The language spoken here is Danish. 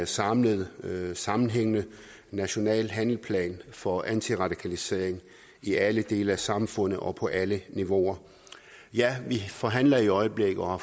samlet sammenhængende national handleplan for antiradikalisering i alle dele af samfundet og på alle niveauer vi forhandler i øjeblikket og har